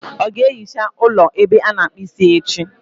Ọ ga-ehicha ụlọ ebe ọ na-akpụ isi echi?